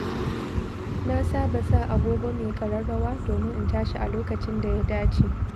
Na saba sa agogo mai ƙararrawa domin in tashi a lokacin da ya dace.